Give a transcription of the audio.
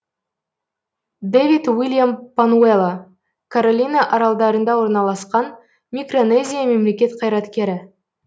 дэвид уильям пануэло каролина аралдарында орналасқан микронезия мемлекет қайраткері